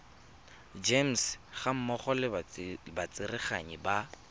gems gammogo le batsereganyi ba